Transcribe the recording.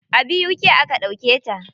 A BUK aka ɗauke ta.